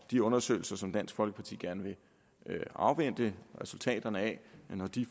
de undersøgelser som dansk folkeparti gerne vil afvente resultaterne af